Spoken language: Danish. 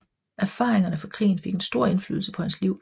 Erfaringerne fra krigen fik en stor indflydelse på hans liv